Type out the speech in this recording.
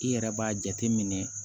I yɛrɛ b'a jateminɛ